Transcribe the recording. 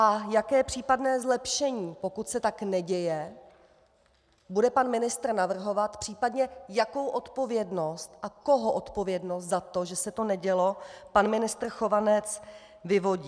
A jaké případné zlepšení, pokud se tak neděje, bude pan ministr navrhovat, případně jakou odpovědnost a koho odpovědnost za to, že se to nedělo, pan ministr Chovanec vyvodí.